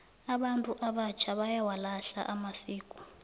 abantu abatjha bayawalahla amasiko